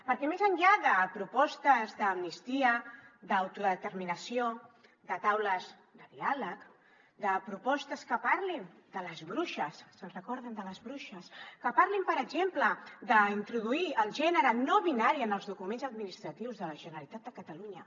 perquè més enllà de propostes d’amnistia d’autodeterminació de taules de diàleg de propostes que parlin de les bruixes se’n recorden de les bruixes que parlin per exemple d’introduir el gènere no binari en els documents administratius de la generalitat de catalunya